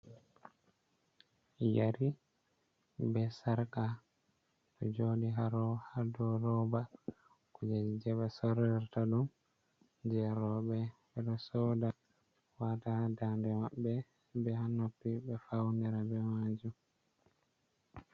Yeri be sarka ɗo joɗi ha dou roba kujeji be sorrirta ɗum je rowɓe, ɓe ɗo soda wata ha dande maɓɓe be ha noppi, ɓe faunira be majum.